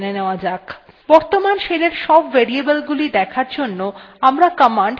বর্তমান shell এর সব variables দেখার জন্য আমরা command set ব্যবহার করতে পারি